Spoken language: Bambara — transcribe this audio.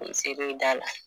i da la